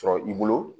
Sɔrɔ i bolo